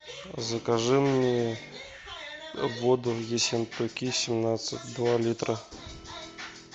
закажи мне воду ессентуки семнадцать два литра